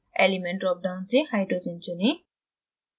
element drop down से hydrogen चुनें